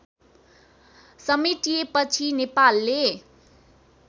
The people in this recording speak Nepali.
समेटिएपछि नेपालले